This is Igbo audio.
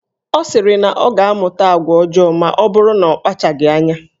Ọ sịrị na ọ ga-amụta agwa ọjọọ maọbụrụ na akpachaghi anya.